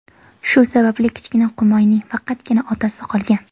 Shu sababli kichkina qumoyning faqatgina otasi qolgan.